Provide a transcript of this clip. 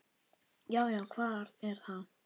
Já. já, hver er þar?